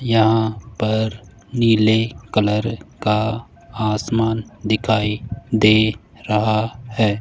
यहां पर नीले कलर का आसमान दिखाई दे रहा है।